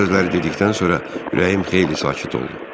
Bu sözləri dedikdən sonra ürəyim xeyli sakit oldu.